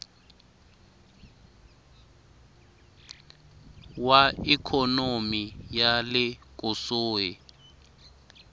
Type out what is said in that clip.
wa ikhonomi ya le kusuhi